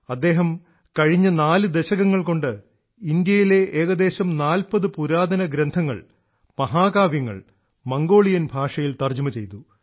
അദ്ദേഹം കഴിഞ്ഞ 4 ദശകങ്ങൾകൊണ്ട് ഇന്ത്യയിലെ ഏകദേശം 40 പുരാതന ഗ്രന്ഥങ്ങൾ മഹാകാവ്യങ്ങൾ മംഗോളിയൻ ഭാഷയിൽ തർജ്ജിമ ചെയ്തു